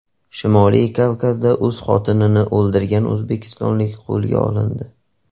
Shimoliy Kavkazda o‘z xotinini o‘ldirgan o‘zbekistonlik qo‘lga olindi.